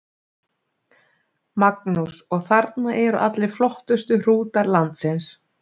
Magnús: Og þarna eru allir flottustu hrútar landsins?